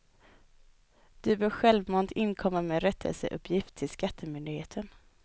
Du bör självmant inkomma med rättelseuppgift till skattemyndigheten.